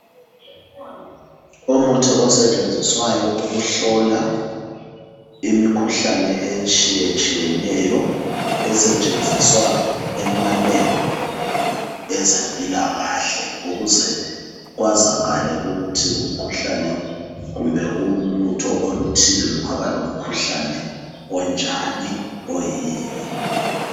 Umuthi osetshenziswayo ukuhlola imikhuhlane etshiyetshiyeneyo, esetshenziswa emalebhu ezempilakahle ukuze kwazakale ukuthi umkhuhlane kumbe ulutho oluthile lungaba lomkhuhlane onjani, oyini.